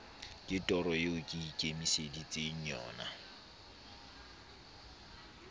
ke toro eo ke ikemiseditseng